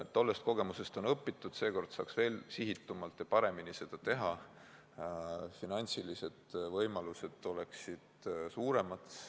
Tollest kogemusest on õpitud, seekord saaks veel sihitumalt ja paremini seda teha, finantsilised võimalused oleksid suuremad.